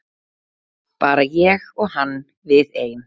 Bara ég og hann við ein.